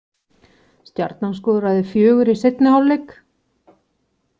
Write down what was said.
Stjarnan skoraði fjögur í seinni hálfleik